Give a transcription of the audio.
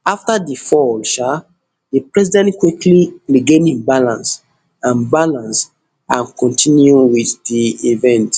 afta di fall um di president quickly regain im balance and balance and continue wit di event